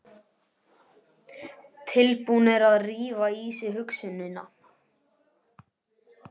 Tilbúnir að rífa í sig hugsunina.